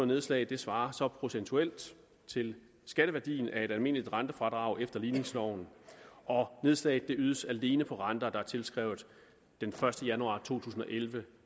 nedslag svarer så procentuelt til skatteværdien af et almindeligt rentefradrag efter ligningsloven og nedslaget ydes alene på renter der er tilskrevet den første januar to tusind og elleve